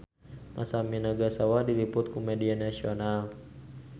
Masami Nagasawa diliput ku media nasional